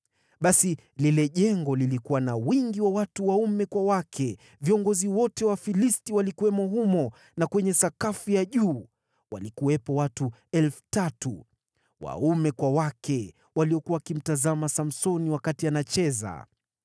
Basi lile jengo lilikuwa na wingi wa watu waume kwa wake; viongozi wote wa Wafilisti walikuwamo humo, na kwenye sakafu ya juu walikuwepo watu 3,000 waume kwa wake, waliokuwa wakimtazama Samsoni wakati anacheza.